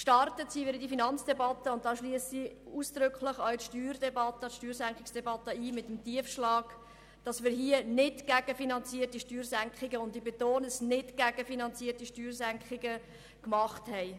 Gestartet sind wir in die Finanzdebatte, und hier schliesse ich ausdrücklich die Steuersenkungsdebatte mit ein, den Tiefschlag, dass wir hier nicht gegenfinanzierte Steuersenkungen, ich betone: nicht gegenfinanzierte Steuersenkungen, vorgenommen haben.